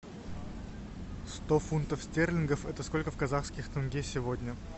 сто фунтов стерлингов это сколько в казахских тенге сегодня